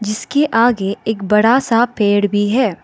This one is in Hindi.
इसके आगे एक बड़ा सा पेड़ भी है।